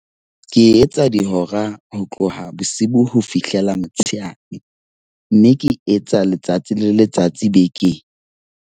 Ke etsa dihora ho tloha bosibu ho fihlela motshehare, mme ke e etsa letsatsi le letsatsi bekeng.